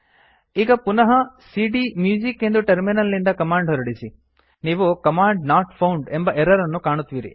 ಈಗ ಪುನಃ ಸಿಡಿಎಂಯೂಸಿಕ್ ಎಂದು ಟರ್ಮಿನಲ್ ನಿಂದ ಕಮಾಂಡ್ ಹೊರಡಿಸಿ ನೀವು ಕಮಾಂಡ್ ನಾಟ್ ಫೌಂಡ್ ಎಂಬ ಎರರ್ ಅನ್ನು ಕಾಣುವಿರಿ